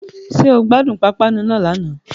Ṣé o gbádùn pápánu náà lánàá